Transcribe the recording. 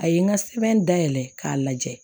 A ye n ka sɛbɛn dayɛlɛn k'a lajɛ